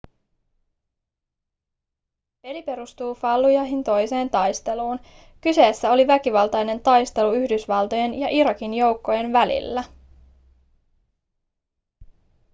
peli perustuu fallujahin toiseen taisteluun kyseessä oli väkivaltainen taistelu yhdysvaltojen ja irakin joukkojenvälillä